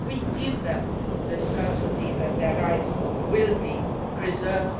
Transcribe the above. Well, we give them the certainty that their rights will be preserved.